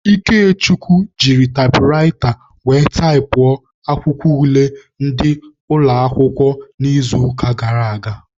Ikechukwu jiri taịpụraịta were taịpụọ akwụkwọ ule ndị ụlọakwụkwọ n'izuụka gara aga.